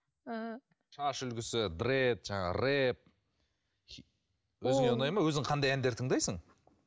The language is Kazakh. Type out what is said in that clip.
ііі шаш үлгісі дрэд жаңағы рэп өзіңе ұнайды ма өзің қандай әндер тыңдайсың